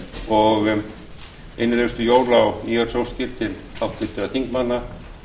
og innilegustu jóla og nýársóskir til háttvirtra þingmanna